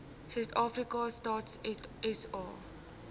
suidafrika stats sa